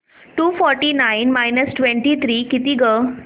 to forty nine minus twenty three किती गं